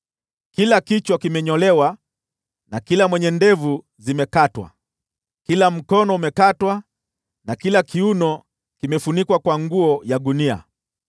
Kila kichwa kimenyolewa na kila mwenye ndevu zimekatwa; kila mkono umekatwa na kila kiuno kimefunikwa kwa nguo ya gunia.